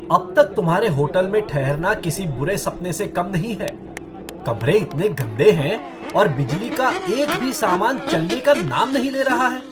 अब तक तुम्हारे होटल में ठहरना किसी बुरे सपने से कम नहीं है, कमरे इतने गंदे हैं और बिजली का एक भी सामान चलने का नाम नहीं ले रहा है।